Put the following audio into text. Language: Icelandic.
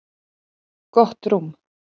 Gott rúm.